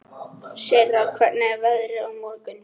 Sirra, hvernig er veðrið á morgun?